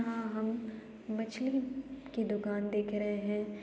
यहाँ हम मछली की दुकान देख रहे है।